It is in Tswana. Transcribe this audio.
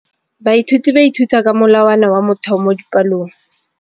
Baithuti ba ithuta ka molawana wa motheo mo dipalong.